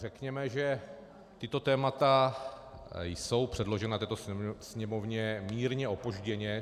Řekněme, že tato témata jsou předložena této Sněmovně mírně opožděně.